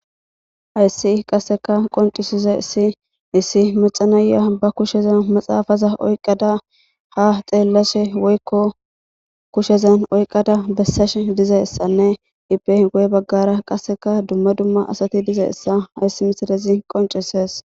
Haysi qaseka qonc'isizaysi issi mac'a na'iya ba kushezan maxafa oykada ha xelashe woyko kushezan oykada besashe dizaysane ipe guye bagara qaseka duma duma asati dizaysa haysi missilezi qonc'ises.